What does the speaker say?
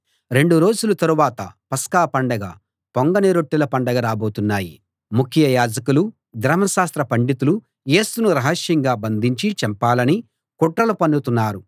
రెండు రోజుల తరువాత పస్కా పండగ పొంగని రొట్టెల పండగ రాబోతున్నాయి ముఖ్య యాజకులు ధర్మశాస్త్ర పండితులు యేసును రహస్యంగా బంధించి చంపాలని కుట్రలు పన్నుతున్నారు